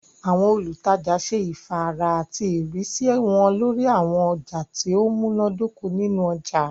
Àwọn olùtajà ṣe ifàárà àti ìrísí wọn lórí àwọn ọjà tí ó múná dóko nínu ọjà